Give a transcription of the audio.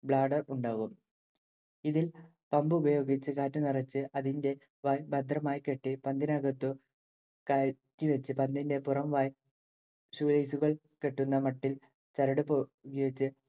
bladder ഉണ്ടാവും. ഇതിൽ pump ഉപയോഗിച്ച് കാറ്റ് നിറച്ച് അതിന്റെ വായ് ഭദ്രമായി കെട്ടി പന്തിനകത്തു കയറ്റിവച്ച് പന്തിന്റെ പുറംവായ് shoe lace കൾ കെട്ടുന്ന മട്ടിൽ ചരടുപയോഗിച്ച്